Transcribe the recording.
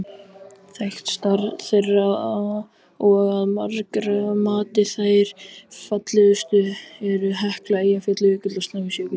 Þekktastar þeirra og að margra mati þær fallegustu eru Hekla, Eyjafjallajökull og Snæfellsjökull.